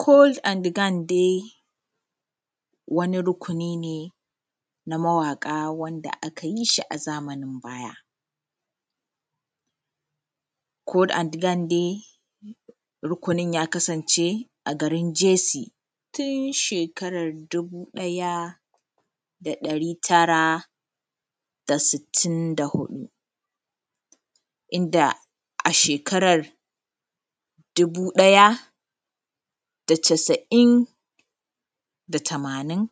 kol an gand dai waniˋ rukuniˋ ne na mawaƙaˋ wandaˋ aka yiˋ zamanin bayaˋ, kol an gand da rukunin ya kasanceˋ a gariˋ JC tun shekaraˋ ta dubuˋ ɗayaˋ da dari tara da sittin da huɗuˋ, indaˋ a shekarar dubuˋ ɗayaˋ da casa’in da tamanin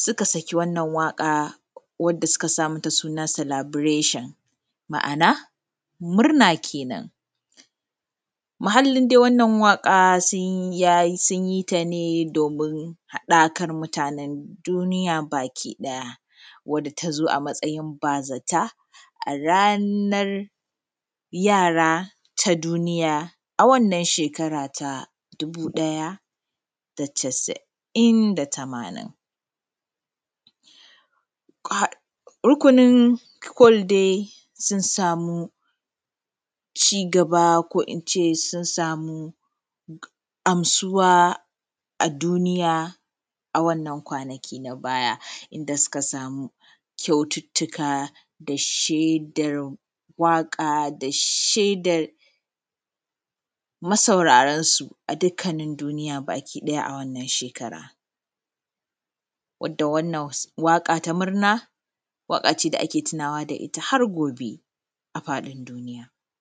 sukaˋ sakiˋ wannan waƙar wandaˋ sukaˋ ka mataˋ sunaˋ naˋ selebreshen ma’ana murna kenen muhallin wannan waƙaˋ sun yi, ya yi, sunyiˋ ta ne domin haɗakan mutanen duniyaˋ bakiˋ ɗayaˋ wandaˋ ta zo matsayin bazataˋ a ranar yaraˋ ta duniyaˋ,a wannan shekaraˋ ta dubuˋ ɗayaˋ da chasa'in da tamanin. Rukunin Kol dai sun samu cigaba ko ince sun sami amsuwa a wannan kwanaki na baya indasuka sami kyautuktukka da shedar waka da shedar massaurarnsu a dukannin duniya a wannan shekara wanda wannan waka ta murna waka ne wanda ake tunawa da ita har gobe a koina a fadin duniya.